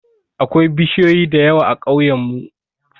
Akwai bishiyoyi da yawa a ƙauyen mu